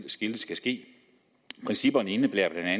skal ske principperne indebærer bla at